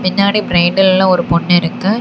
பின்னாடி பிரைண்டல்ல ஒரு பொண்ணு இருக்கு.